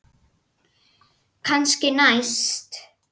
Kannski næst?